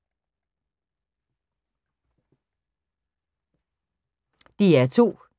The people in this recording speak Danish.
DR2